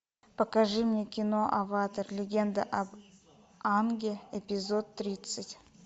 покажи мне кино аватар легенда об аанге эпизод тридцать